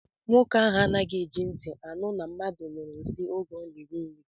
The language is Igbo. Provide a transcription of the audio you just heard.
Nwoke ahụ anaghị eji ntị anụ na mmadụ nyụrụ nsị oge ọ na-eri nri